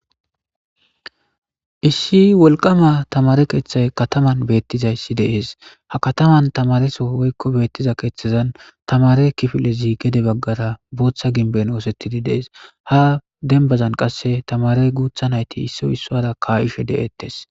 issi wolqama tamare keeththay kataman beettizayssi de'es ha kataman tamareso woykko beettiza keeththezan tamare kifilezi gede baggara booththa ginben woosettidi dees ha dembazan qasse tamare guutha nayti isso issora kaa'ishe de'ettes